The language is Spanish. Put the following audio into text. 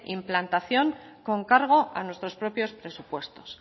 implantación con cargo a nuestros propios presupuestos